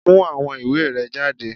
Mú àwọn ìwé rẹ jáde!